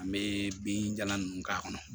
An bɛ binjalan ninnu k'a kɔnɔ